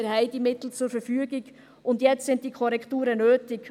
Wir haben diese Mittel zur Verfügung, und jetzt sind diese Korrekturen nötig.